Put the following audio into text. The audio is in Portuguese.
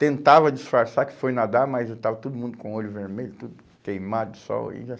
Tentava disfarçar que foi nadar, mas estava todo mundo com o olho vermelho, tudo queimado de sol. Aí já